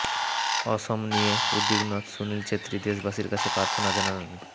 অসম নিয়ে উদ্বিগ্ন সুনীল ছেত্রী দেশবাসীর কাছে প্রার্থনা জানালেন